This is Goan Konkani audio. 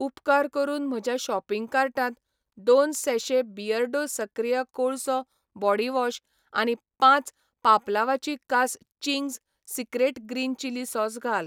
उपकार करून म्हज्या शॉपिंग कार्टांत दोन सैैशे बियर्डो सक्रिय कोळसो बॉडीवॉश आनी पांच पापलांवाची कास Ching's secret green chilli sauce घाल.